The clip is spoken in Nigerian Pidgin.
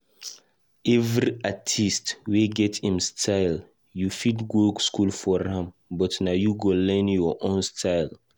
Every artist wey get im style, you fit go school for am but na you go learn your own style.